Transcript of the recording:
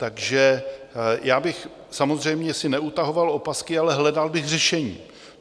Takže já bych samozřejmě si neutahoval opasky, ale hledal bych řešení.